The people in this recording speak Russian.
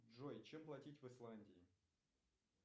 джой чем платить в исландии